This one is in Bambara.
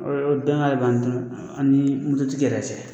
o dan b'an ani tigi yɛrɛ cɛ.